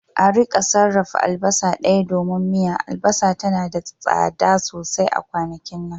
a rika sarrafa albasa daya domin miya, albasa tana da tsada sosai a kwanakin nan